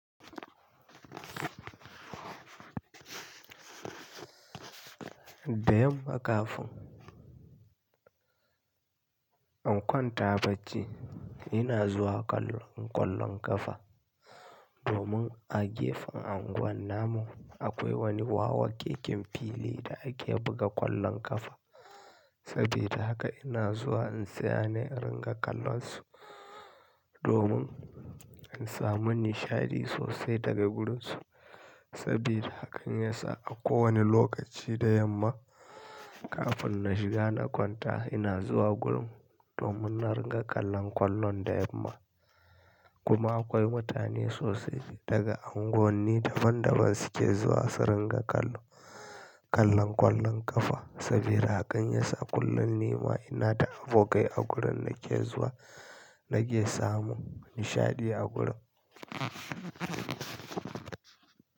Da yamma kafin. In kwanta bacci ina zuwa kallon ƙwallon ƙafa domin a gefen anguwan namu akwai wani wawakeken fili da ake buga ƙwallon ƙafa. Sabida haka ina zuwa in tsaya ne in ringa kallonsu domin in samu nishaɗi sosai daga gurun su. Sabida haka in yasa a kowane lokaci da yamma kafin na shiga na kwanta ina zuwa gurin domin na ringa kallon ƙwallon da yamma. Kuma akwai mutane sosai daga unguwanni daban daban suke zuwa su ringa kallo, kallon ƙwallon ƙafa. Sabida haka in yasa kullum ni ma ina da abokai a gurin na ke zuwa nake samu nishaɗi a gurin.